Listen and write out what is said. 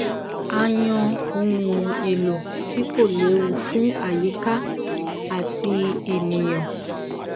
a yan ohun èlò tí kò lewu fún àyíká àti ènìyàn